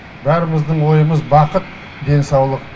бәріміздің ойымыз бақыт денсаулық